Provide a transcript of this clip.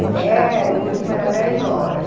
Até era, o último era dez horas.